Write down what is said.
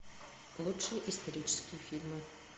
лучшие исторические фильмы